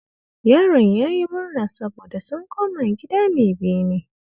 Yaron ya yi murna saboda sun koma gida mai bene